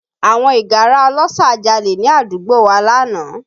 Àwọn ìgárá ọlọ́ṣà jalè ní àdúgbò wa lánàá